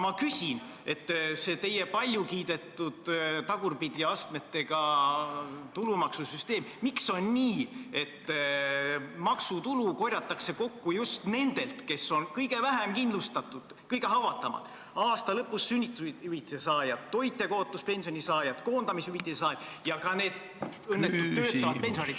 Miks on nii, et selle teie palju kiidetud tagurpidi astmetega tulumaksusüsteemiga kogutakse maksutulu just nendelt, kes on kõige vähem kindlustatud, kõige haavatavamad: aasta lõpus sünnitushüvitise saajad, toitjakaotuspensioni saajad, koondamishüvitise saajad ja ka need õnnetud töötavad pensionärid ...